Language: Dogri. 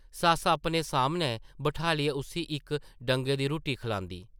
सस्स अपने सामनै बठालियै उस्सी इक डंगै दी रुट्टी खलांदी ।